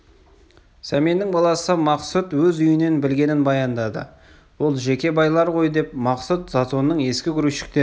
сәменнің баласы мақсұт өз үйінен білгенін баяндады ол жеке байлар ғой деп мақсұт затонның ескі грузчиктері